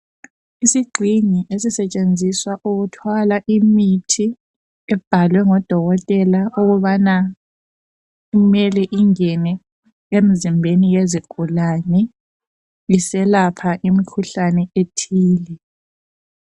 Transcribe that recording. Isixhingi esisetshenziswa ukuthwala imithi ebhalwe ngodokotela ukubana kumele ingene emizimbeni yezigulane iselapha imikhuhlane ethile.